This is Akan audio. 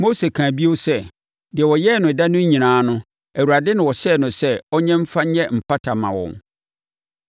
Mose kaa bio sɛ, deɛ ɔyɛɛ no ɛda no nyinaa no, Awurade na ɔhyɛɛ no sɛ ɔnyɛ mfa nyɛ mpata mma wɔn.